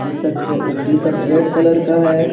T shirt के T shirt red colour का है।